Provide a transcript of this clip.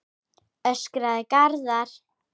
öskraði Garðar.